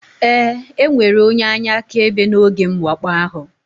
Ee, enwere onye anya akaebe n'oge mwakpo ahụ